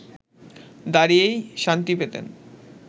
দাঁড়িয়েই শান্তি পেতেন